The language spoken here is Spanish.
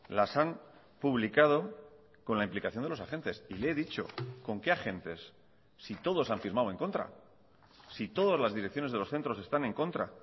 las han publicado con la implicación de los agentes y le he dicho con qué agentes si todos han firmado en contra si todas las direcciones de los centros están en contra